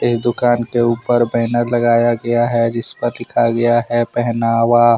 इ दुकान के ऊपर बैनर लगाया गया है जिस पर लिखा गया है पहनावा।